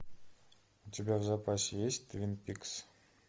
у тебя в запасе есть твин пикс